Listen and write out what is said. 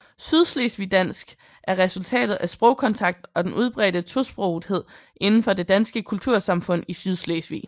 Sydslesvigdansk er resultatet af sprogkontakt og den udbredte tosprogethed inden for det danske kultursamfund i Sydslesvig